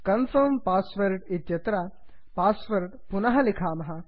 confirm password confirm इत्यत्र password पुनः लिखामः